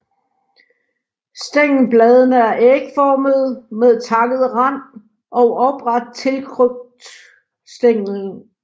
Stængelbladene er ægformede med takket rand og opret tiltrykt stænglen